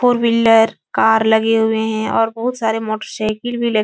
four wheeler car लगे हुए हैं और बहोत सारे मोटरसाइकिल भी --